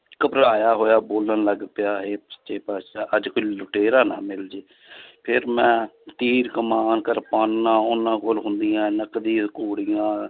ਘਬਰਾਇਆ ਹੋਇਆ ਬੋਲਣ ਲੱਗ ਪਿਆ ਹੇ ਸੱਚੇ ਪਾਤਿਸ਼ਾਹ ਅੱਜ ਕੋਈ ਲੁਟੇਰਾ ਨਾ ਮਿਲ ਜਾਏ ਫਿਰ ਮੈਂ ਤੀਰ ਕਮਾਨ ਕਿਰਪਾਨਾਂ ਉਹਨਾਂ ਕੋਲ ਹੁੰਦੀਆਂ ਨਕਲੀ ਘੋੜ੍ਹੀਆਂ